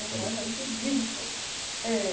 mas é muito horrível.